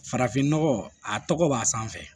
Farafinnɔgɔ a tɔgɔ b'a sanfɛ